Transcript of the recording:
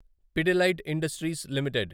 Pidilite Industries limited